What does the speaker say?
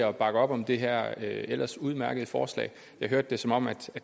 og bakke op om det her ellers udmærkede forslag jeg hørte det som om